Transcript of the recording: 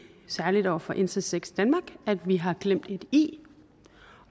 særligt over for intersex danmark at vi har glemt et i